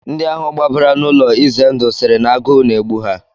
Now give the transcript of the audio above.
Ndị ahụ gbabara n'ụlọ ize ndụ sịrị na agụụ na-egbu ha